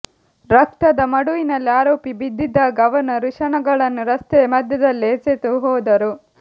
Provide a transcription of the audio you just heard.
ರಕ್ತದ ಮಡುವಿನಲ್ಲಿ ಆರೋಪಿ ಬಿದ್ದಿದ್ದಾಗ ಅವನ ವೃಷಣಗಳನ್ನು ರಸ್ತೆಯ ಮಧ್ಯದಲ್ಲೇ ಎಸೆದುಹೋದರು